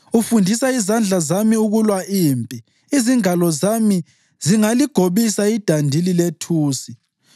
Ufundisa izandla zami ukulwa impi, izingalo zami zingaligobisa idandili lethusi.